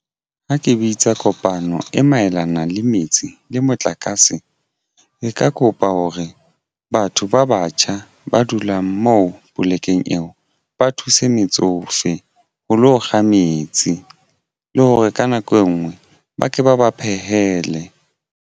Ha ke bitsa kopano e maelana le metsi le motlakase e ka kopa hore batho ba batjha ba dulang moo polekeng eo ba thuse metsofe ho lo kga metsi le hore ka nako engwe ba ke ba ba phehele.